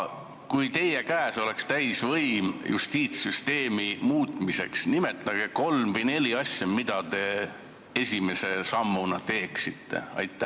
Nimetage kolm või neli asja, mida te esimese sammuna teeksite, kui teie käes oleks täisvõim justiitssüsteemi muuta.